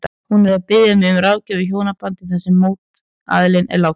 Hún er að biðja mig um ráðgjöf í hjónabandi þar sem mótaðilinn er dáinn.